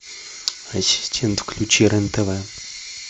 ассистент включи рен тв